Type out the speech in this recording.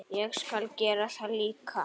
Ég skal gera það líka.